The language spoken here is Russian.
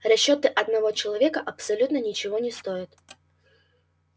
расчёты одного человека абсолютно ничего не стоят